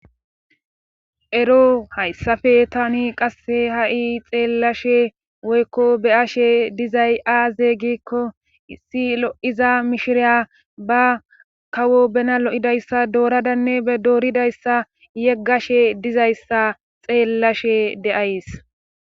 ero hayssafe tani qasse ha7i xeellashe woykko be7ashe dizay aazey giikko issi lo7iza mishiriya ba kawo bena lo7idayssa dooradanne e dooridayssa yeggashe dizayssa xeellashe deays